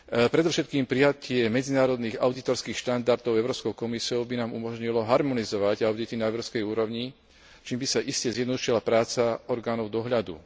Predovšetkým prijatie medzinárodných audítorských štandardov Európskou komisiou by nám umožnilo harmonizovať audity na európskej úrovni, čím by sa iste zjednodušila práca orgánov dohľadu.